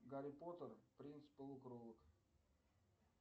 гарри поттер принц полукровок